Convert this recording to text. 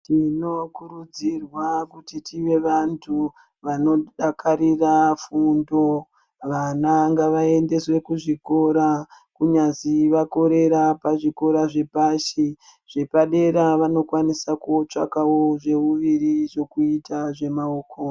Tinokurudzirwa kuti tive vantu vanodakarira fundo. Vana ngavaendeswe kuzvikora kunyazi vakorera pazvikora zvepashi, zvepadera vanokwanisa kutsvagawo zveuviri zvekuita zvemaoko.